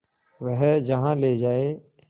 वह जहाँ ले जाए